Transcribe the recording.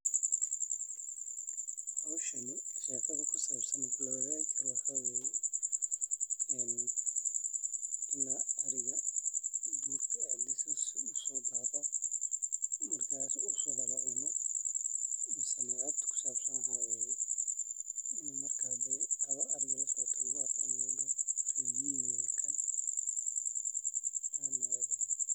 Hoshani shekada kusabsan maxaa waye ee ariga durka u sodaqo maxaa kusabsan ariga adhigo lasocoto hadii lagu arko in lagu daho kan rer mig waye.